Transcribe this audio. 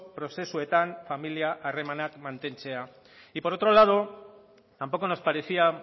prozesuetan familia arremenak mantentzea y por otro lado tampoco nos parecía